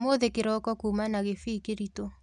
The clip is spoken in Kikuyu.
ũmũthĩ kĩroko kuma na kĩbii kĩritũ.